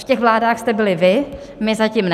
V těch vládách jste byli vy, my zatím ne.